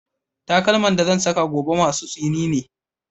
Takalman da zan saka gobe masu tsini ne